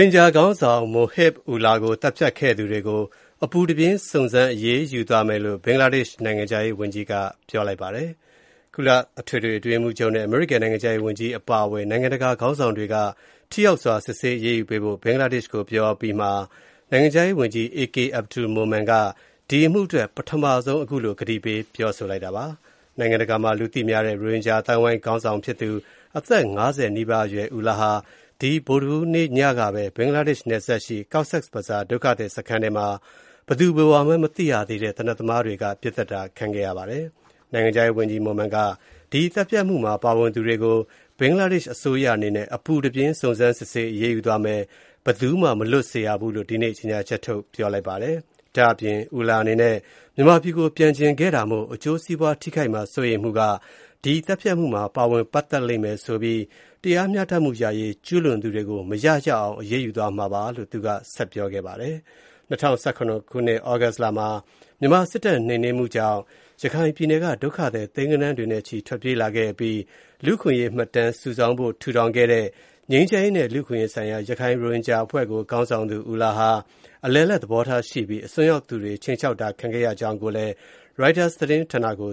င်ဂျာခေါင်းဆောင် Mohib Ullah ကို သတ်ဖြတ်ခဲ့သူတွေကို အပူတပြင်း စုံစမ်းအရေးယူသွားမယ်လို့ ဘင်္ဂလားဒေ့ရှ် နိုင်ငံခြားရေးဝန်ကြီးက ကတိပြုလိုက်ပါတယ်။ ကုလအထွေထွေအတွင်းရေးမှူးချုပ်နဲ့ အမေရိကန် နိုင်ငံခြားရေးဝန်ကြီး အပါအဝင် နိုင်ငံတကာ ခေါင်းဆောင်တွေက ထိရောက်စွာ စစ်ဆေးအရေးယူဖို့ ဘင်္ဂလားဒေ့ရှ်ကို ပြောအပြီး နိုင်ငံခြားရေးဝန်ကြီး A.K Abdul Momen က ဒီအမှုအတွက် ပထမဆုံး အခုလို ကတိပေး ပြောလိုက်တာပါ။ နိုင်ငံတကာမှာ လူသိများတဲ့ ရိုဟင်ဂျာအသိုင်းအဝိုင်း ခေါင်းဆောင်ဖြစ်သူ ၅၀ နီးပါးအရွယ် Ullah ဟာ ဒီဗုဒ္ဓဟူးနေ့ညကပဲ ဘင်္ဂလားဒေ့ရှ်နယ်စပ် Cox’s Bazar ဒုက္ခသည်စခန်းထဲမှာ ဘယ်သူဘယ်ဝါမှန်း မသိရသေးတဲ့ သေနတ်သမားတွေက ပစ်သတ်ခဲ့တာပါ။ နိုင်ငံခြားရေးဝန်ကြီး Momen က ဒီသတ်ဖြတ်မှုမှာ ပါဝင်သူတွေကို ဘင်္ဂလားဒေ့ရှ်အစိုးရ အနေနဲ့ အပူတပြင်း စုံစမ်းစစ်ဆေးအရေးယူသွားမယ်၊ ဘယ်သူမှ မလွတ်စေရဘူးလို့ ဒီနေ့ ကြေညာချက်ထုတ် ပြောလိုက်ပါတယ်။ ဒါ့အပြင် Ullah အနေနဲ့ မြန်မာပြည်ကို ပြန်ချင်ခဲ့တာမို့ အကျိုးစီးပွားထိခိုက်မှာ စိုးရိမ်မှုက ဒီသတ်ဖြတ်မှုမှာ ပါဝင်ပတ်သက်လိမ့်မယ်လို့ဆိုပြီး တရားမျှတမှုရရေး ကျူးလွန်သူတွေကို မရရအောင် အရေးယူသွားမှာပါလို့ ဆက်ပြောခဲ့ပါတယ်။ ၂၀၁၇ သြဂုတ်လမှာ မြန်မာစစ်တပ် နှိမ်နင်းမှုကြောင့် ဒုက္ခသည် သိန်းဂဏန်းတွေနဲ့ချီ ထွက်ပြေးလာခဲ့အပြီး လူ့အခွင့်အရေးမှတ်တမ်း စုဆောင်းဖို့ ထူထောင်ခဲ့တဲ့ ငြိမ်းချမ်းရေးနဲ့ လူ့အခွင့်အရေးဆိုင်ရာ ရခိုင် ရိုဟင်ဂျာအဖွဲ့ကို ခေါင်းဆောင်သူ Ullah ဟာ အလယ်အလတ် သဘောထားရှိပြီး အစွန်းရောက်သူတွေ ခြိမ်းခြောက်တာ ခံခဲ့ရကြောင်း ရိုက်တာသတင်းဌာနကိ